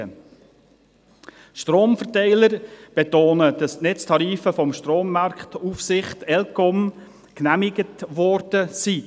Die Stromverteiler betonen, dass die Netztarife von der Strommarktaufsicht ElCom genehmigt worden sind.